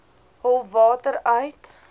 hul water uit